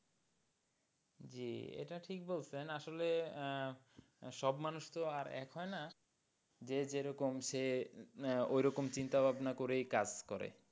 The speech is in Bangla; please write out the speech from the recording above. জি এটা ঠিক বলছেন আসলে আহ সব মানুষ তো আর এক হয়না যে যেরকম সে ওরকম চিন্তা ভাবনা করেই কাজ করে।